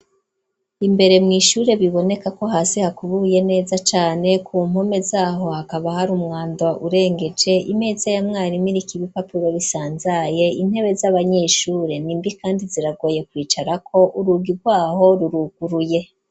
Imbere mw'ishure, biboneka ko hasi hakubuye neza cane, ku mpome z'aho hakaba hari umwanda urengeje, imeza ya mwarimu iriko ibipapuro bisanzaye, intebe z'abanyeshure ni mbi kandi ziragoye kwicarako, urugi rwaho ruruguruye.